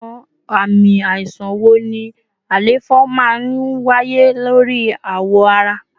Awọn ami aisan wo ni àléfọ maa n waye lori awọ ara?